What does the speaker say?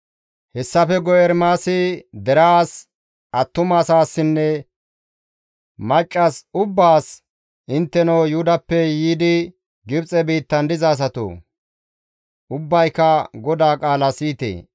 Hessafe guye Ermaasi deraas, attumaasinne maccas ubbaas, «Intteno Yuhudappe yiidi Gibxe biittan diza asatoo! Ubbayka GODAA qaala siyite!